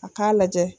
A k'a lajɛ